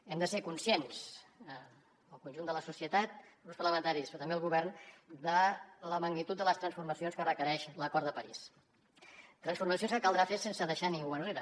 hem de ser conscients el conjunt de la societat grups parlamentaris però també el govern de la magnitud de les transformacions que requereix l’acord de parís transformacions que caldrà fer sense deixar ningú enrere